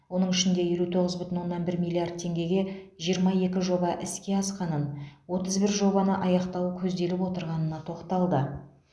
оның ішінде елу тоғыз бүтін оннан бір миллиард теңгеге жиырма екі жоба іске асқанын отыз бір жобаны аяқтау көзделіп отырғанына тоқталды